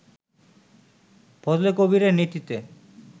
ফজলে কবীরের নেতৃত্বে